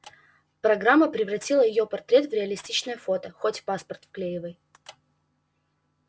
программа превратила её портрет в реалистичное фото хоть в паспорт вклеивай